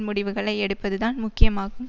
முடிவுகளை எடுப்பதுதான் முக்கியமாகும்